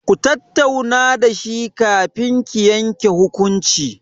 Ku tattauna da shi kafin ki yanke hukunci.